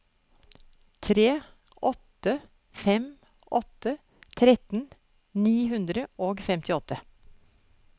tre åtte fem åtte tretten ni hundre og femtiåtte